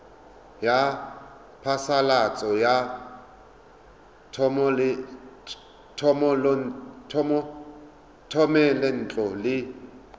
ya phasalatso ya thomelontle le